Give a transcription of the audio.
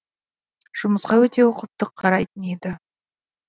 жұмысқа өте ұқыпты қарайтын еді